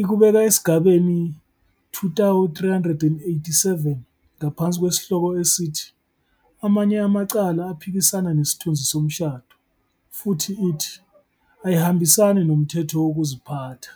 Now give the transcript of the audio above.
ikubeka esigabeni 2387 ngaphansi kwesihloko esithi "Amanye amacala aphikisana nesithunzi somshado" futhi ithi "ayihambisani nomthetho wokuziphatha."